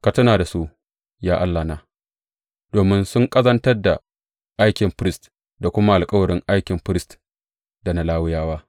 Ka tuna da su, ya Allahna, domin sun ƙazantar da aikin firist da kuma alkawarin aikin firist da na Lawiyawa.